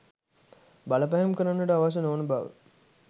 බලපෑම් කරන්නට අවශ්‍ය නොවන බව